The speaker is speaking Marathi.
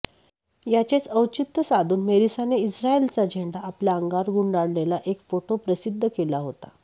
याचेच औचित्य साधून मेरिसाने इस्रायलचा झेंडा आपल्या अंगावर गुंडाळलेला एक फोटो प्रसिद्ध केला होता